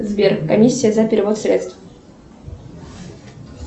сбер комиссия за перевод средств